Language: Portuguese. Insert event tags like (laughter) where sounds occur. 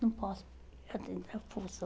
Não posso. (unintelligible)